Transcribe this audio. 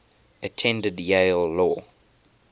attended yale law